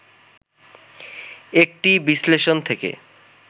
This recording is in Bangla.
একটি বিশ্লেষণ থেকে